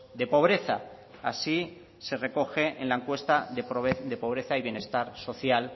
de pobreza así se recoge en la encuentra de pobreza y bienestar social